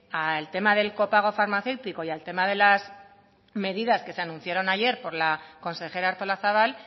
al tema del copago farmacéutico y al tema de las medidas que se anunciaron ayer por la consejera artolazabal